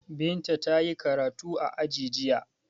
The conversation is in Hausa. Binta ta yi karatu a aji jiya.